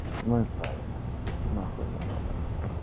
ну и правильно нахуй оно надо